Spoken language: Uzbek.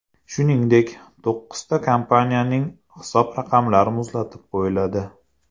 Shuningdek, to‘qqizta kompaniyaning hisob raqamlari muzlatib qo‘yiladi.